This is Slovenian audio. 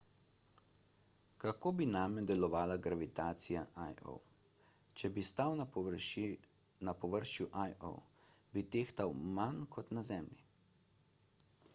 kako bi name delovala gravitacija io če bi stal na površju io bi tehtal manj kot na zemlji